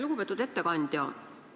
Lugupeetud ettekandja!